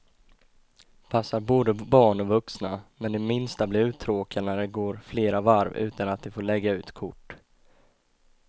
Passar både barn och vuxna, men de minsta blir uttråkade när det går flera varv utan att de får lägga ut kort.